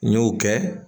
N y'o kɛ